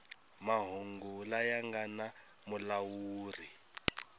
mahungu laya nga na mulawuri